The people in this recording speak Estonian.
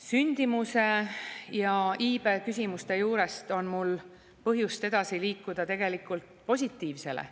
Sündimuse ja iibe küsimuste juurest on mul põhjust edasi liikuda tegelikult positiivsele.